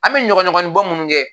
An bɛ ɲɔgɔn ɲɔgɔnin bɔ minnu kɛ